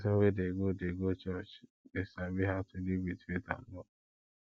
pesin wey dey go dey go church dey sabi how to live with faith and love